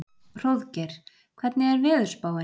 Hróðgeir, hvernig er veðurspáin?